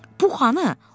“Pux hanı?”